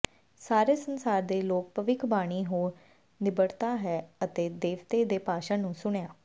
ਸਾਰੇ ਸੰਸਾਰ ਦੇ ਲੋਕ ਭਵਿੱਖ ਬਾਣੀ ਹੋ ਨਿਬੜਦਾ ਹੈ ਅਤੇ ਦੇਵਤੇ ਦੇ ਭਾਸ਼ਣ ਨੂੰ ਸੁਣਿਆ